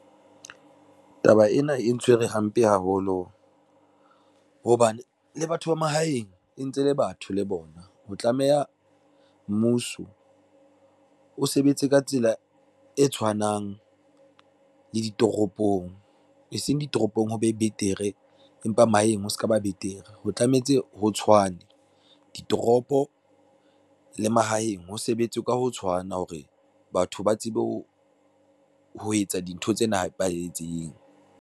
Taba ena e ntshwere hampe haholo, hobane le batho ba mahaeng e ntse le batho le bona. Ho tlameha mmuso o sebetse ka tsela e tshwanang le ditoropong, eseng ditoropong ho be betere empa mahaheng ho se ka ba betere ho tlametse ho tshwane. Ditoropo le mahaheng ho sebetse ka ho tshwana hore batho ba tsebe ho etsa dintho tsena ho nepahetseng.